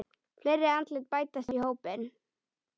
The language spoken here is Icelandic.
Fleiri andlit bætast í hópinn.